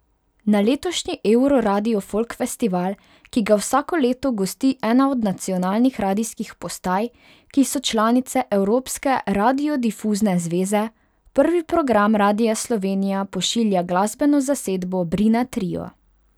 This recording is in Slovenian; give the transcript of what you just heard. Na letošnji Euroradio Folk Festival, ki ga vsako leto gosti ena od nacionalnih radijskih postaj, ki so članice Evropske radiodifuzne zveze, Prvi program Radia Slovenija pošilja glasbeno zasedbo Brina Trio.